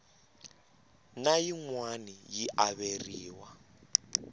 na yin wana yi averiwa